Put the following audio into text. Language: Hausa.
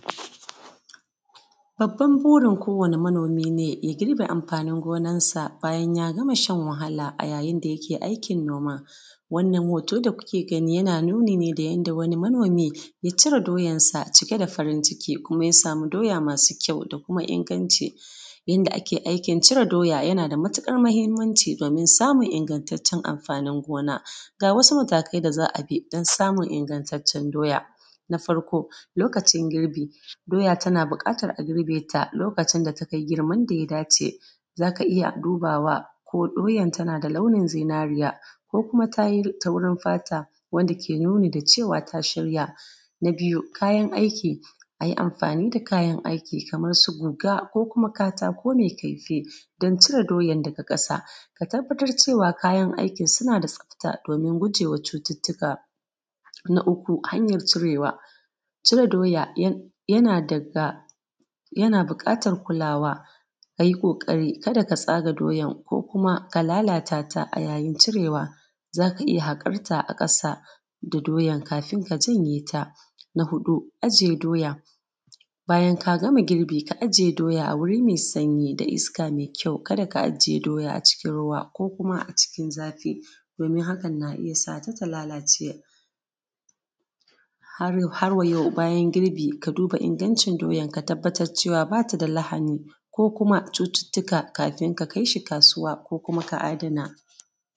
Babban burin kowane manomi ne ya girbe amfanin gonansa, bayan ya gama shan wahala, a yayin da yake aikin noma. Wannan hoto da kuke gani yana nuni ne da yadda wani manomi, ya cire doyarsa ciki da farin ciki, kuma ya samu doya masu kyau da kuma inganci. Yanda aiki cire doya yana da matiƙar muhimmanci domun ingantaccen amfanin gona. Ga wasu matakai da za a bi don samun ingantaccen doya, na farko lokacin girbi, doya tana buƙatar a girbe ta, lokacin da ta kai girman da ya dace. Za ka iya dubawa ko doyan tana da launin zinariya, ko kuma ta yi taurin fata wanda ke nuni da cewa ta shirya. Na biyu kayan aiki, a yi amfani da kayan aiki kamar su guga ko kuma katako mai kaifi, don cire doyan daga ƙasa. Ka tabbatar kayan aikin suna da tsafta, domin gujewa cututtuka. Na uku hanyar cirewa, cire doya yana daga, yana buƙatar kulawa, a yi ƙaƙari kada ka tsaga doyan ko kuma ka lalata ta a yayin cirewa. Za ka iya haƙar ta a ƙasa da doyar kafin ka janye ta. Na huɗu ajiye doya, bayan k agama girbi ka ajiye doya a wuri mai sanyi da iska mai kyau kada ka ajiye a cikin ruwa ko kuma a cikin zafi, domin hakan na iya sa ta ta lalace. Har wayau bayan girbi ka duba ingancin doyan, ka tabbatar da ba ta da lahani ko kuma cututtuka kafin ka kai shi kasuwa ko kuma ka adana.